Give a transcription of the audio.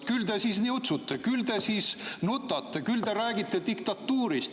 Küll te siis niutsute, küll te siis nutate, küll te räägite diktatuurist.